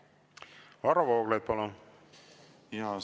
Varro Vooglaid, palun!